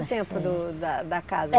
tempo do da da casa? É